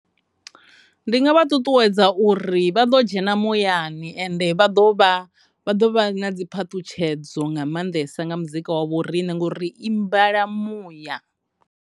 Ndi nga ṱuṱuwedza uri vha ḓo dzhena muyani ende vha ḓo vha, vha ḓo vha na dziphaṱhutshedzo nga mannḓesa nga muzika wa vho rine ngauri ri imbela muya.